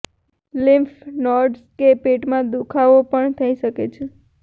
lymph nodes કે પેટમાં દુઃખાવો પણ થઈ શકે છે